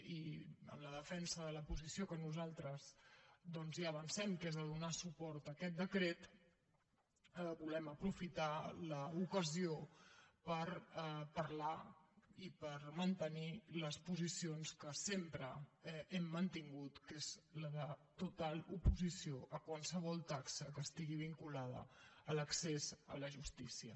i en la de fensa de la posició que nosaltres ja avancem que és de donar suport a aquest decret volem aprofitar l’ocasió per parlar i per mantenir les posicions que sempre hem mantingut que són de total oposició a qualsevol taxa que estigui vinculada a l’accés a la justícia